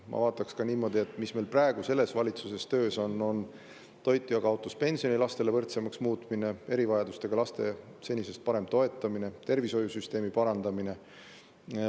Ma vaataks ka seda, mis meil praegu selles valitsuses töös on: toitjakaotuspensioni lastele võrdsemaks muutmine, erivajadustega laste senisest parem toetamine ja tervishoiusüsteemi parandamine.